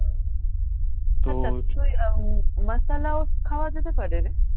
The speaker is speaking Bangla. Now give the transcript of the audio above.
খাওয়া যেতে পারে রে